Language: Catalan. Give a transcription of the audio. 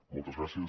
moltes gràcies